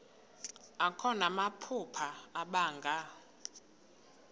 akho namaphupha abanga